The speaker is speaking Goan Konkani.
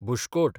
बुशकोट